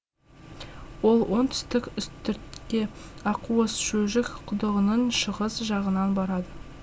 ол оңтүстік үстіртке аққуыс шөжік құдығының шығыс жағынан барады